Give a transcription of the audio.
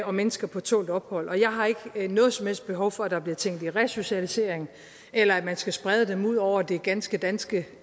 og mennesker på tålt ophold og jeg har ikke noget som helst behov for at der bliver tænkt i resocialisering eller at man skal sprede dem ud over det ganske danske